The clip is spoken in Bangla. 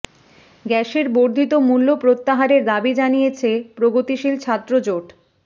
গ্যাসের বর্ধিত মূল্য প্রত্যাহারের দাবি জানিয়েছে প্রগতিশীল ছাত্র জোট